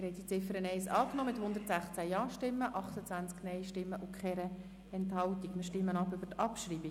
Sie haben die Ziffer 1 mit 116 Ja-, 28 Nein-Stimmen und keiner Enthaltung angenommen.